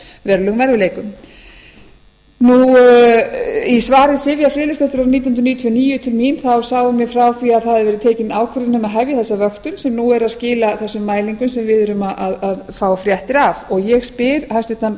verulegum erfiðleikum í svari sivjar friðleifsdóttur árið nítján hundruð níutíu og níu til mín sagði hún mér frá því að það hefði verið tekin ákvörðun um að hefja þessa vöktun sem nú er að skila þessum mælingum sem við erum að fá fréttir af og ég spyr hæstvirtur